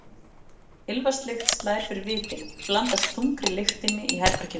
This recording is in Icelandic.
Ilmvatnslykt slær fyrir vitin, blandast þungri lyktinni í herberginu.